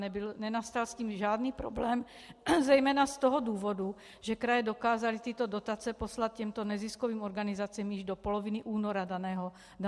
Nenastal s tím žádný problém, zejména z toho důvodu, že kraje dokázaly tyto dotace poslat těmto neziskovým organizacím již do poloviny února daného roku.